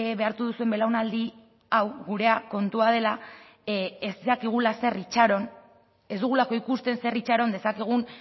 behartu duzuen belaunaldi hau gurea kontua dela ez dakigula zer itxaron ez dugulako ikusten zer itxaron dezakegun